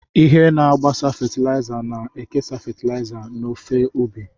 Ihe na-agbasa fatịlaịza na-ekesa fatịlaịza n'ofe ubi.